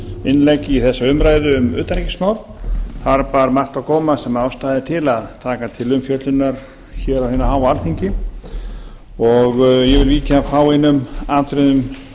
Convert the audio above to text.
innlegg í þessa umræðu um utanríkismál þar bar margt á góma sem ástæða er til að taka til umfjöllunar hér á hinu háa alþingi og ég vil víkja að fáeinum atriðum